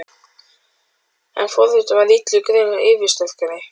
En forvitnin varð illum grun yfirsterkari.